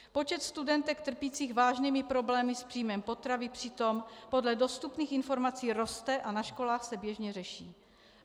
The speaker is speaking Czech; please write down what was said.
Počet studentek trpících vážnými problémy s příjmem potravy přitom podle dostupných informací roste a na školách se běžně řeší.